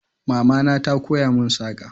Mama na ta koya mun saƙa